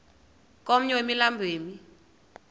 komnye wemilambo emi